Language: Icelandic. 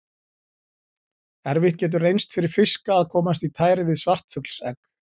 Erfitt getur reynst fyrir fiska að komast í tæri við svartfuglsegg.